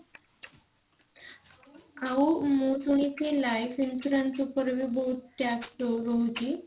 ଆଉ ମୁଁ ଶୁଣିଛି life insurance ଉପରେ ବହୁତ tax ରହୁଛି